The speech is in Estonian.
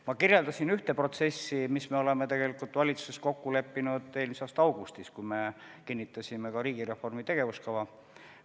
Ma kirjeldasin üht protsessi, mille me tegelikult leppisime valitsuses kokku eelmise aasta augustis, kui me kinnitasime riigireformi tegevuskava.